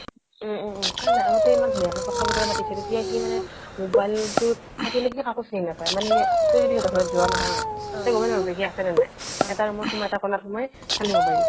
উম উম উম আগতে কথা বতৰা পাতিছিল এতিয়া সি মানে মোবাইলটোত থাকিলে কাকো চিনি নাপায় মানে তই যদি সিহতৰ ঘৰত যোৱা নহয় তই গমে নাপাবি সি আছে নে নাই এটা roomত সোমাই এটা কোনত সোমাই খালি মোবাইলটো